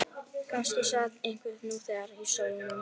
Kannski sat einhver nú þegar í stólnum.